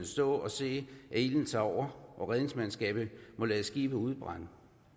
stå og se at ilden tager over og redningsmandskabet må lade skibet udbrænde